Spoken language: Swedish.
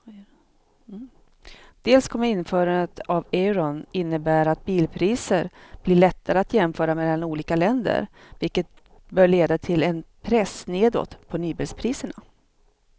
Dels kommer införandet av euron innebära att bilpriser blir lättare att jämföra mellan olika länder vilket bör leda till en press nedåt på nybilspriserna.